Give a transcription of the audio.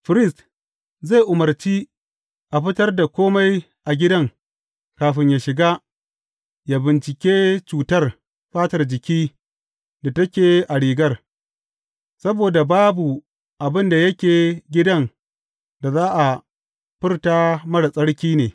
Firist zai umarci a fitar da kome a gidan kafin ya shiga ya bincike cutar fatar jiki da take a rigar, saboda babu abin da yake gidan da za a furta marar tsarki ne.